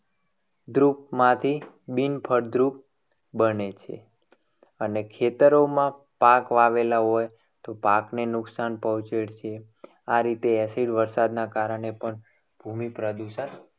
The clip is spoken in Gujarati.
દ્રુપ માંથી બિન ફળદ્રુપ બને છે. અને ખેતરોમાં પાક વાવેલા હોય તો પાકને નુકસાન પહોંચે છે. આ રીતે acid વર્ષા ના કારણે પણ ભૂમિ પ્રદૂષણ